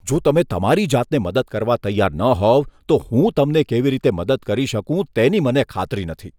જો તમે તમારી જાતને મદદ કરવા તૈયાર ન હોવ તો હું તમને કેવી રીતે મદદ કરી શકું તેની મને ખાતરી નથી.